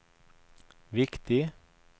viktig